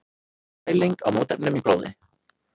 Mæling á mótefnum í blóði.